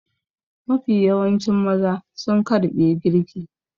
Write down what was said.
Mafi yawancin maza sun ƙarɓe girki.